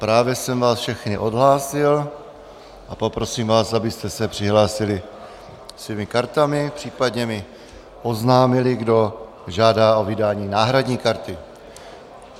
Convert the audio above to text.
Právě jsem vás všechny odhlásil a poprosím vás, abyste se přihlásili svými kartami, případně mi oznámili, kdo žádá o vydání náhradní karty.